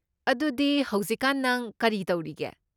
ꯑꯗꯨꯗꯤ ꯍꯧꯖꯤꯛꯀꯥꯟ ꯅꯪ ꯀꯔꯤ ꯇꯧꯔꯤꯒꯦ?